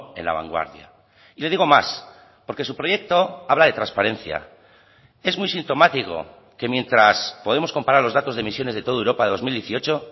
en la vanguardia y le digo más porque su proyecto habla de transparencia es muy sintomático que mientras podemos comparar los datos de emisiones de toda europa de dos mil dieciocho